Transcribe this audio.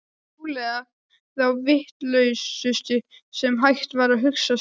Trúlega þá vitlausustu sem hægt var að hugsa sér.